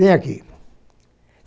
Vem aqui.